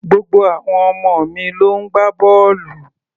Gbogbo àwọn ọmọ mi ló ń gbá bọ́ọ̀lù